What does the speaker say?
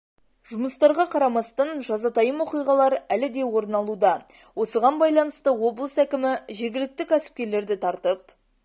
жұмыстарға қарамастан жазатайым оқиғалар әлі де орын алуда осыған байланысты облыс әкімі жергілікті кәсіпкерлерді тартып